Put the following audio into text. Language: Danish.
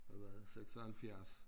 Hvad var det 76